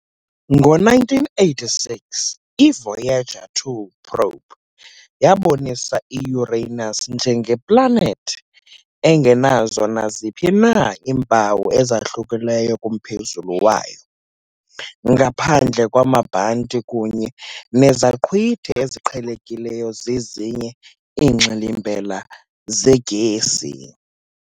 Ngo- 1986 i- Voyager 2 probe yabonisa i-Uranus njengeplanethi engenazo naziphi na iimpawu ezahlukileyo kumphezulu wayo, ngaphandle kwamabhanti kunye nezaqhwithi eziqhelekileyo zezinye iingxilimbela zegesi.